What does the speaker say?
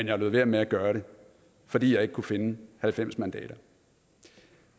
jeg lod være med at gøre det fordi jeg ikke kunne finde halvfems mandater